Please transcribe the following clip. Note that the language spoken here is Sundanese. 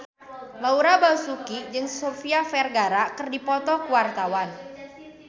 Laura Basuki jeung Sofia Vergara keur dipoto ku wartawan